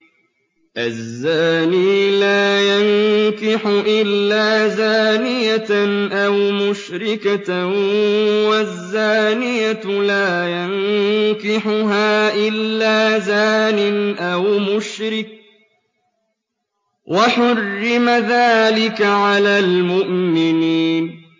الزَّانِي لَا يَنكِحُ إِلَّا زَانِيَةً أَوْ مُشْرِكَةً وَالزَّانِيَةُ لَا يَنكِحُهَا إِلَّا زَانٍ أَوْ مُشْرِكٌ ۚ وَحُرِّمَ ذَٰلِكَ عَلَى الْمُؤْمِنِينَ